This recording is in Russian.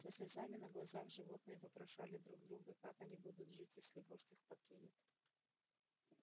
со слезами на глазах животные вопрошали друг друга как они будут жить если вождь их покинет